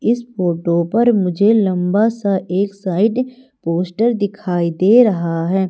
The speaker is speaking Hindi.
इस फोटो पर मुझे लंबा सा एक साइड पोस्टर दिखाई दे रहा है।